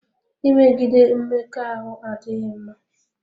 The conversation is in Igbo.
Imegide Mmekọahụ adịghị mma.